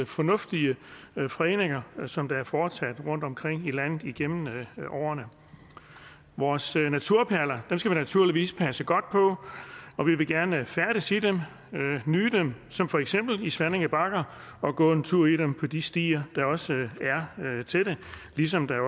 fornuftige fredninger som er foretaget rundtomkring i landet igennem årene vores naturperler skal vi naturligvis passe godt på og vi vil gerne færdes i dem og nyde dem som for eksempel i svanninge bakker og gå en tur i dem på de stier der også er til det ligesom der